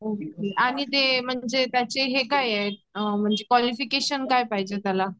आणि ते त्यांचे हे काय आहेत्त. म्हणजे क्वॉलिफ़िकेशन काय पाहिजे त्याला.